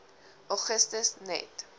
augustus net